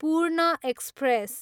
पूर्ण एक्सप्रेस